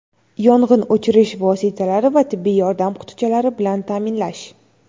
yong‘in o‘chirish vositalari va tibbiy yordam qutichalari bilan taʼminlash;.